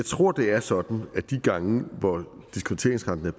tror det er sådan at de gange hvor diskonteringsrenten er